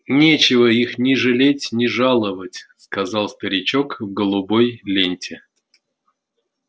нечего их ни жалеть ни жаловать сказал старичок в голубой ленте